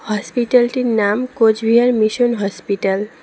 হসপিটালটির -টির নাম Cooch Behar mission hospital.